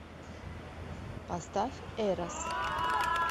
поставь эрос